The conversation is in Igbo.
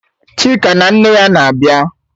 Chika na nne ya na-abịa?